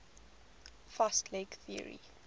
fast leg theory